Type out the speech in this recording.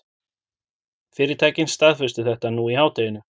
Fyrirtækin staðfestu þetta nú í hádeginu